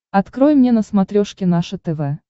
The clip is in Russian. открой мне на смотрешке наше тв